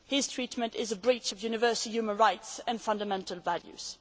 His treatment is a breach of universal human rights and fundamental values.